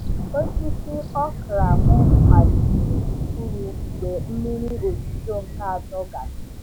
Osisi okra m malitere ifuru mgbe mmiri ozuzo nke atọ gasịrị.